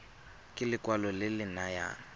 ke lekwalo le le nayang